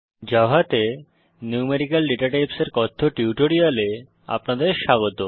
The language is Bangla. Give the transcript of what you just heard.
জাভাতে নিউমেরিক্যাল ডেটাটাইপস এর কথ্য টিউটোরিয়ালে আপনাদের স্বাগত